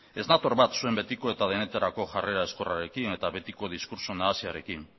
ez nator bat zuen betiko eta denetarako jarrera ezkorrarekin eta betiko diskurtso nahasiarekin